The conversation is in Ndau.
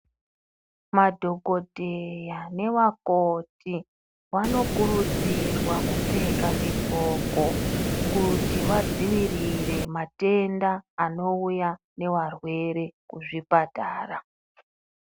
Madhokodheya nevakoti vanokuridzirwa kupfeka zvidxoko kuti vadzivirire matenda anouya nevarwere kuzvipatara.